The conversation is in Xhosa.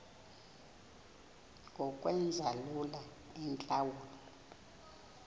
ngokwenza lula iintlawulo